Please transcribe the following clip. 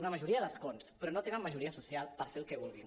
una majoria d’escons però no tenen majoria social per fer el que vulguin